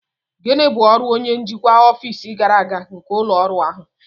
Gịnị bụ ọrụ onye njikwa ọfịs gàrà aga nke ụlọ ọrụ ahụ?